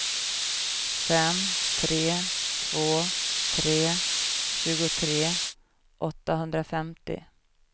fem tre två tre tjugotre åttahundrafemtio